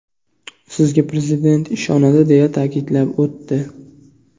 Sizga Prezident ishonadi”, deya ta’kidlab o‘tdi.